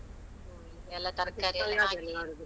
ಎಲ್ಲ ತರ್ಕಾರಿ ಎಲ್ಲ ಹಾಕಿ.